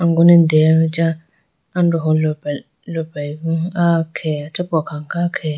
angone deyaboo acha androho lopra loprayi bo ah khege achapo akha khe.